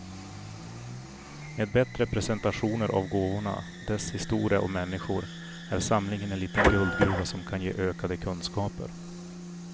Med bättre presentationer av gåvorna, dess historia och människor, är samlingen en liten guldgruva som kan ge ökade kunskaper.